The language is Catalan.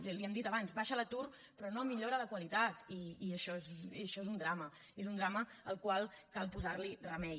l’hi hem dit abans baixa l’atur però no millora la qualitat i això és un drama és un drama al qual cal posar remei